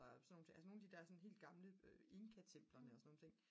og sådan nogle ting altså sådan nogle af de der helt gamle altså inkatemplerne og sådan nogle ting